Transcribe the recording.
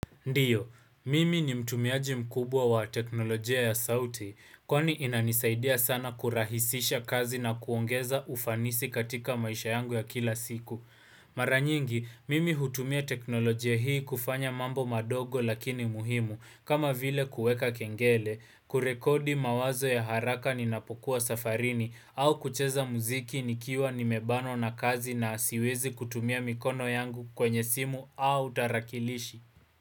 Ndiyo, mimi ni mtumiaji mkubwa wa teknolojia ya sauti, kwani inanisaidia sana kurahisisha kazi na kuongeza ufanisi katika maisha yangu ya kila siku. Maranyingi, mimi hutumia teknolojia hii kufanya mambo madogo lakini muhimu, kama vile kueka kengele, kurekodi mawazo ya haraka ninapokuwa safarini, au kucheza muziki nikiwa ni mebanwa na kazi na asiwezi kutumia mikono yangu kwenye simu au tarakilishi.